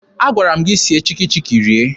Agwara m gị sie Chikki Chikki rie!